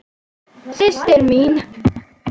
Systir mín.